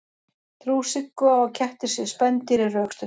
trú siggu á að kettir séu spendýr er rökstudd